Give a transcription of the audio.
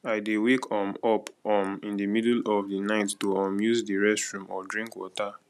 i dey wake um up um in the middle of the night to um use the restroom or drink water